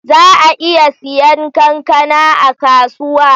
Za a iya siyan kankana a kasuwa?